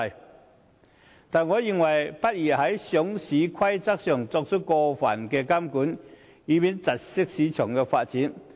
不過，我認為在上市規則上不宜作出過分監管，以免窒礙市場發展。